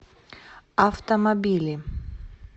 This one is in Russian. автомобили